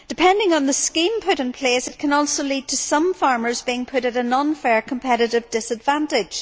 Depending on the scheme put in place, it can also lead to some farmers being put at an unfair competitive disadvantage.